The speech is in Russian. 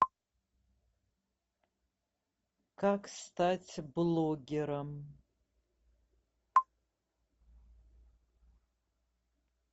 как стать блогером